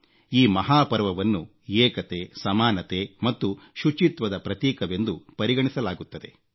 ಈ ಮಹಾಪರ್ವವನ್ನು ಏಕತೆ ಸಮಾನತೆ ಮತ್ತು ಶುಚಿತ್ವದ ಪ್ರತೀಕವೆಂದು ಪರಿಗಣಿಸಲಾಗುತ್ತದೆ